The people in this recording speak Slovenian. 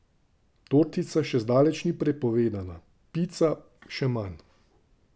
Tortica še zdaleč ni prepovedana, pica še manj!